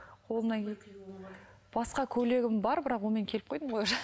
басқа көйлегім бар бірақ онымен келіп қойдым ғой уже